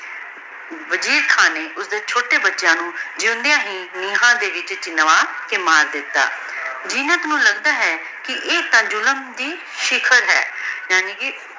ਮਜੀਦ ਖਾਨ ਨੇ ਓਸਦੀ ਚੋਟੀ ਬੇਟੀਆਂ ਨੂ ਜੇਵੋਉਂਦ੍ਯਾਂ ਹੀ ਰੂਹਾਂ ਦੇ ਵਿਚ ਚੁੰਵਾ ਦਿਤਾ ਜੀਨਤ ਨੂ ਲਗਦਾ ਹੈ ਕੇ ਈਯ ਤਾਂ ਜ਼ੁਲਮ ਦੀ ਸ਼ਿਕਨ ਹੈ ਯਾਨੀ ਕੇ